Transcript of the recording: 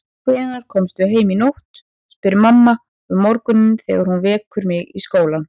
Hvenær komstu heim í nótt, spyr mamma um morguninn þegar hún vekur mig í skólann.